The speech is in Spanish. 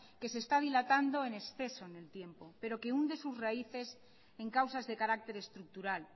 que se está dilatando en exceso en el tiempo pero que hunde sus raíces en causas de carácter estructural